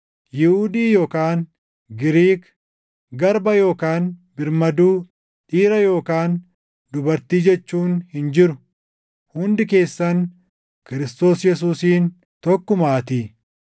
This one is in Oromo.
Yihuudii yookaan Giriik, garba yookaan birmaduu, dhiira yookaan dubartii jechuun hin jiru; hundi keessan Kiristoos Yesuusiin tokkumaatii.